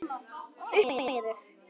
Upp og niður.